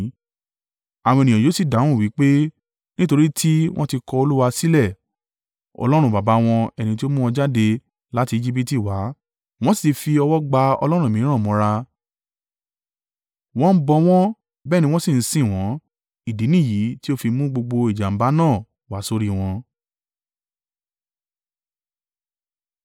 Àwọn ènìyàn yóò sì dáhùn wí pé, ‘Nítorí tí wọ́n ti kọ̀ Olúwa sílẹ̀, Ọlọ́run baba wọn ẹni tí ó mú wọn jáde láti Ejibiti wá, wọ́n sì ti fi ọwọ́ gba ọlọ́run mìíràn mọ́ra, wọ́n bọ wọ́n, bẹ́ẹ̀ ni wọ́n sì ń sìn wọ́n, ìdí nìyí tí ó fi mú gbogbo ìjàǹbá náà wá sórí wọn.’ ”